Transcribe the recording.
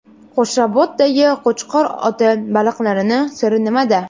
Qo‘shrabotdagi Qo‘chqor ota baliqlarining siri nimada?.